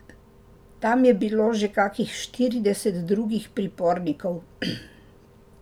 Tam je bilo že kakih štirideset drugih pripornikov.